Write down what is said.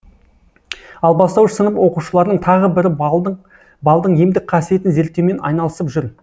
ал бастауыш сынып оқушыларының тағы бірі балдың емдік қасиетін зерттеумен айналысып жүр